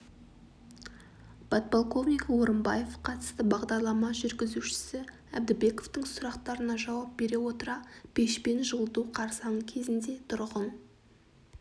подполковнигі орымбаев қатысты бағдарлама жүргізушісі әбдібековтың сұрақтарына жауап бере отыра пешпен жылыту қарсаңы кезеңінде тұрғын